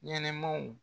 Ɲɛnɛmaw